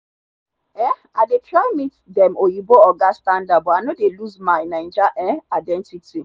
um i dey try meet dem oyinbo oga standard but i no dey lose my naija um identity.